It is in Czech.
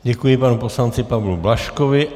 Děkuji, panu poslanci Pavlu Blažkovi.